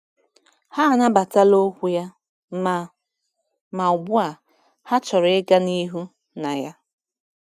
Ha anabatala okwu ya, ma ma ugbu a ha chọrọ ịga n’ihu na ya.